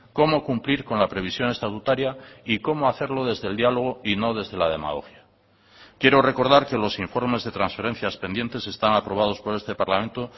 cómo cumplir con la previsión estatutaria y cómo hacerlo desde el diálogo y no desde la demagogia quiero recordar que los informes de transferencias pendientes están aprobados por este parlamento